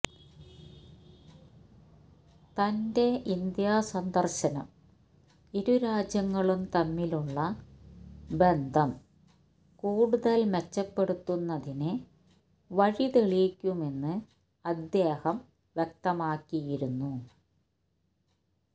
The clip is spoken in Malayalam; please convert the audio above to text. തന്റെ ഇന്ത്യാ സന്ദര്ശനം ഇരുരാജ്യങ്ങളും തമ്മിലുള്ള ബന്ധം കൂടുതല് മെച്ചപ്പെടുത്തുന്നതിന് വഴിതെളിക്കുമെന്ന് അദ്ദേഹം വ്യക്തമാക്കിയിരുന്നു